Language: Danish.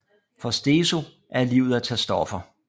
For Steso er livet at tage stoffer